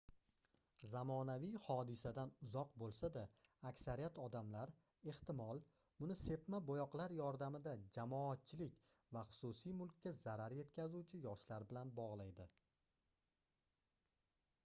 zamonaviy hodisadan uzoq boʻlsa-da aksariyat odamlar ehtimol buni sepma boʻyoqlar yordamida jamoatchilik va xususiy mulkka zarar yetkazuvchi yoshlar bilan bogʻlaydi